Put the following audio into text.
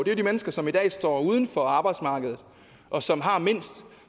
jo de mennesker som i dag står uden for arbejdsmarkedet og som har mindst og